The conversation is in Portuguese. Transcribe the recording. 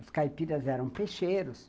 Os caipiras eram peixeiros.